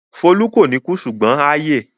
Folú kò ní kú ṣùgbọ́n á yè.